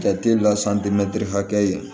Jate la hakɛya